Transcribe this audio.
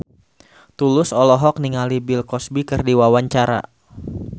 Tulus olohok ningali Bill Cosby keur diwawancara